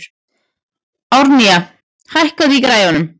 Árnína, hækkaðu í græjunum.